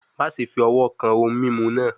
Maṣe fi ọwọ kan ohun mimu naa